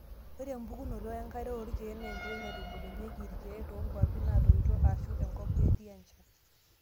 Ore embukokinoto enkare oorkiek naa ekoitoi naitubulunyieki irkiek toonkwapi naatoito eshuu enkop kitii enchan.